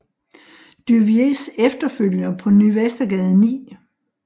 Duviers Efterfølger på Ny Vestergade 9